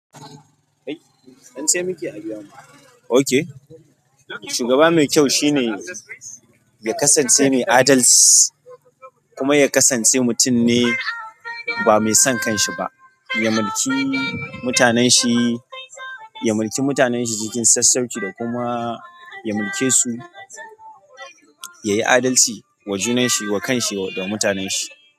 Ai se muke a biya mu, shuga me kyau shine ya kasance mai adalci kuma ya kasance mutum ne ba mai son kan shi ba, ya mulki mutanen shi, ya mulki mutanen shi cikin sassauƙi da kuma ya mulke su, yayi adalci wa junan shi, wa kan shi da mutanen shi.